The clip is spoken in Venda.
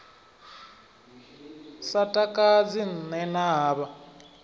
sa takadzi nṋe na havha